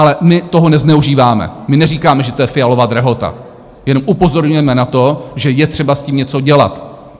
Ale my toho nezneužíváme, my neříkáme, že to je Fialova drahota, jenom upozorňujeme na to, že je třeba s tím něco dělat.